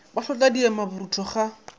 o hlotla diema borutho ga